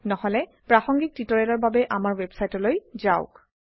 নহলে প্ৰাসঙ্গিক টিউটোৰিয়েলৰ বাবে আমাৰ ওয়েবসাইটলৈ যাওক